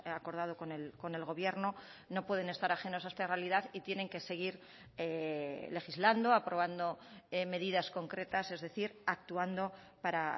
acordado con el gobierno no pueden estar ajenos a esta realidad y tienen que seguir legislando aprobando medidas concretas es decir actuando para